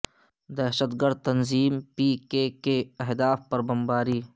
دہشت گرد تنظیم پی کے کے کے اہداف پر بمباری